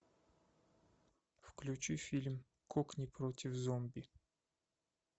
включи фильм кокни против зомби